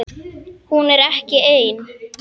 Hún er ekki ein.